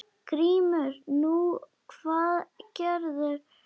GRÍMUR: Nú, hvað gerðu þeir?